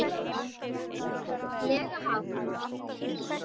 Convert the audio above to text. lega hátt.